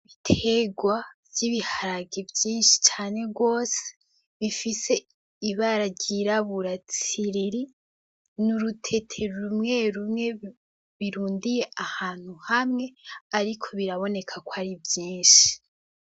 Ibiterwa vy'ibiharage vyinshi cane gose bifise ibara ryirabura tsiriri, n'urutete rumwe rumwe birundiye ahantu hamwe ariko biraboneka kwari vyinshi.